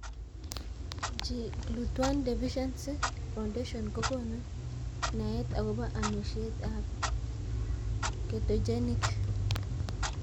GLUT1 Deficiency Foundation Ko konu nae akopo amishet ab ketogenic